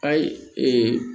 Ayi